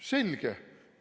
Selge.